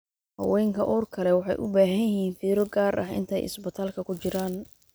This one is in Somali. Haweenka uurka leh waxay u baahan yihiin fiiro gaar ah inta ay isbitaalka ku jiraan.